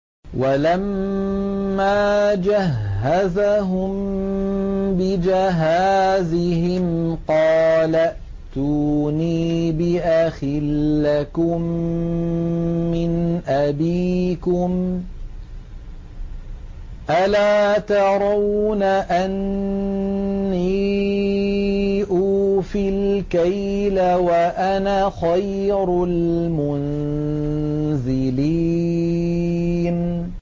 وَلَمَّا جَهَّزَهُم بِجَهَازِهِمْ قَالَ ائْتُونِي بِأَخٍ لَّكُم مِّنْ أَبِيكُمْ ۚ أَلَا تَرَوْنَ أَنِّي أُوفِي الْكَيْلَ وَأَنَا خَيْرُ الْمُنزِلِينَ